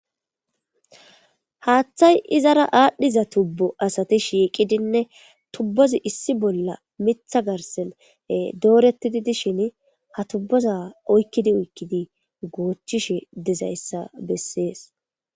haaththay izara aadhdhiza tubbu asati shiiqidinne tubbozi issi bolla mitha garsen doorettidi dishin ha tubboza oykkidi oykkidi goochishe dezayssa bessees